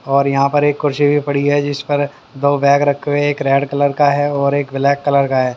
और यहाँ पर एक कुर्सी भी पड़ी है जिस पर दो बैग रखे हुए एक रेड कलर का है और एक ब्लैक कलर का है।